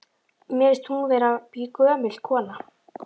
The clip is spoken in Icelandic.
Mér finnst hún vera gömul kona.